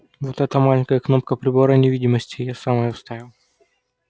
вот эта маленькая кнопка прибора невидимости я сам её вставил